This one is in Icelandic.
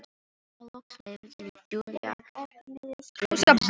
Og þá loks leyfði Júlía gleðinni að streyma.